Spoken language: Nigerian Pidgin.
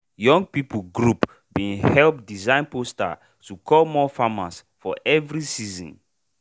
young people group bin help design poster to call more farmer for every season.